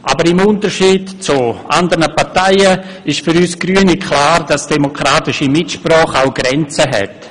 Aber im Unterschied zu anderen Parteien ist für uns Grüne klar, dass demokratische Mitsprache auch Grenzen hat.